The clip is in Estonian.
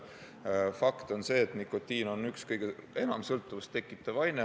Fakt on see, et nikotiin on üks kõige enam sõltuvust tekitav aine.